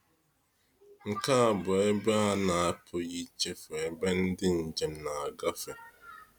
Nke a bụ ebe a na-apụghị ichefu ebe ndị njem na-agafe.